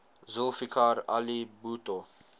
zulfikar ali bhutto